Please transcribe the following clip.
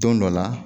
Don dɔ la